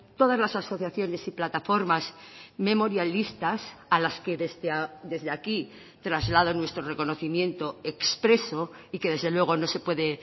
todas las asociaciones y plataformas memorialistas a las que desde aquí traslado nuestro reconocimiento expreso y que desde luego no se puede